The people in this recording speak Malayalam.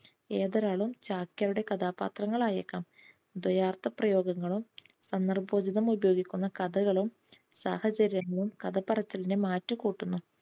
ഏതൊരാളും ചാക്യാരുടെ കഥാപാത്രങ്ങൾ ആയേക്കാം. ദ്വയാർത്ഥ പ്രയോഗങ്ങളും സന്ദർഭോചിതം ഉപയോഗിക്കുന്ന കഥകളും സാഹചര്യങ്ങളും കഥപറച്ചിലിനെ മാറ്റുകൂട്ടുന്നു.